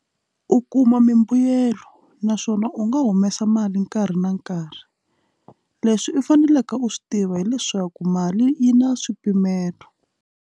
U kuma mimbuyelo naswona u nga humesa mali nkarhi na nkarhi leswi u faneleke u swi tiva hileswaku mali yi na swipimelo.